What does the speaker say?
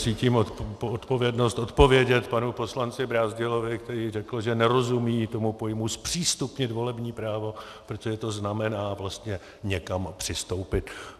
Cítím odpovědnost odpovědět panu poslanci Brázdilovi, který řekl, že nerozumí tomu pojmu zpřístupnit volební právo, protože to znamená vlastně někam přistoupit.